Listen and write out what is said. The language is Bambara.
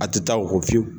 A tɛ taa o kɔ fiyewu